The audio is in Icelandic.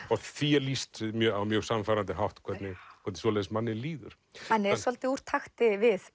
og því er lýst á mjög sannfærandi hátt hvernig svoleiðis manni líður hann er svolítið úr takti við